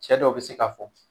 Cɛ dɔw be se ka fɔ